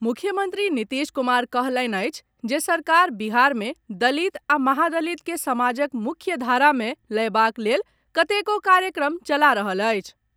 मुख्यमंत्री नीतीश कुमार कहलनि अछि जे सरकार बिहार मे दलित आ महादलित कॅ समाजक मुख्य धारा मे लयबाक लेल कतेको कार्यक्रम चला रहल अछि।